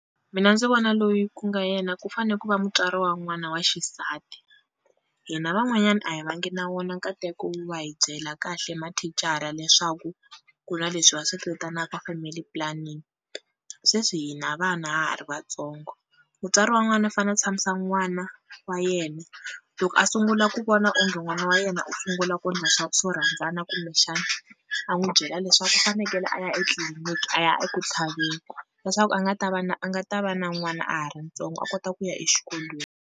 Mina ndzi vona loyi ku nga yena ku fane ku va mutswari wa n'wana wa xisati, hina van'wanyani a hi va ngi na wona nkateko wo va hi byela kahle mathicara leswaku ku na leswi va swi vitanaka family planning, sweswi hi na vana ha ha ri vatsongo, mutswari wa n'wana fane a tshamisa n'wana wa yena loko a sungula ku vona onge n'wana wa yena u sungula ku ndla swa swo rhandzana kumbexani a n'wi byela leswaku u fanekele a ya etliliniki a ya eku tlhaveni leswaku a nga ta va na a nga ta va na n'wana a ha ri ntsongo a kota ku ya exikolweni.